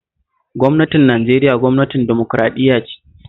Gwamnatin Nigeria gwamnatin dimokuraɗiyya ce